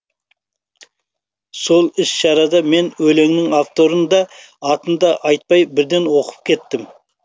сол іс шарада мен өлеңнің авторын да атын да айтпай бірден оқып кеттім